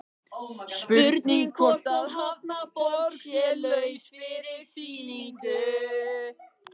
Spurning hvort að Hafnarborg sé laus fyrir sýningu?